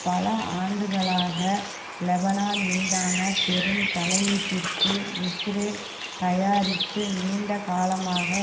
பல ஆண்டுகளாக லெபனான் மீதான பெரும் தலையீட்டிற்கு இஸ்ரேல் தயாரித்து நீண்டகாலமாக